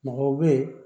Mɔgɔw bɛ yen